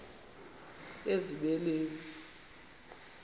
ezibeleni